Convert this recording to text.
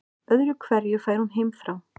Öðru hverju fær hún heimþrá.